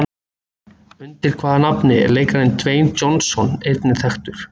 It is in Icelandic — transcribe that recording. Undir hvaða nafni er leikarinn Dwayne Johnson einnig þekktur?